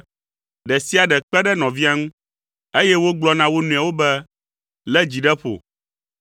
ɖe sia ɖe kpe ɖe nɔvia ŋu, eye wogblɔ na wo nɔewo be, “Lé dzi ɖe ƒo.”